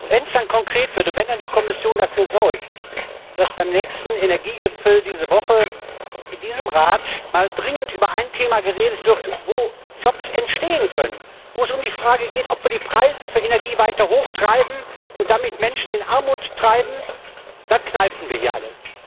Wenn es dann konkret wird und wenn die Kommission dafür sorgt, dass beim nächsten Energiegipfel diese Woche, in diesem Rat, mal dringend über ein Thema geredet wird, wo Jobs entstehen können, wo es um die Frage geht, ob wir die Preise für Energie weiter hochtreiben und damit Menschen in Armut treiben, dann kneifen wir hier alle.